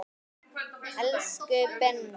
Elsku Binni.